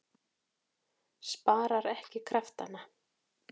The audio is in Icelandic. Sparar ekki kraftana.